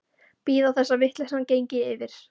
Bíða þess að vitleysan gengi yfir.